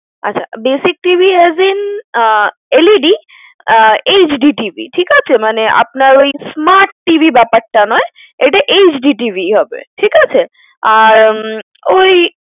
আচ্ছা basic TV as in ah LED ah HD TV ঠিক আছে? মানে আপনার ওই smart TV ব্যপারটা নয়। এটা HD TV হবে। ঠিক আছে? আর উম ওই